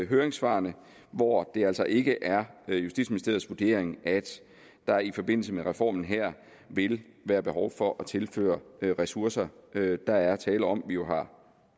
høringssvarene hvor det altså ikke er justitsministeriets vurdering at der i forbindelse med reformen her vil være behov for at tilføre ressourcer der er tale om at vi jo har